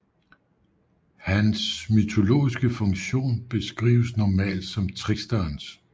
Hans mytologiske funktion beskrives normalt som tricksterens